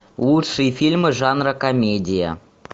лучшие фильмы жанра комедия